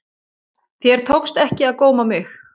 Þér tókst ekki að góma mig.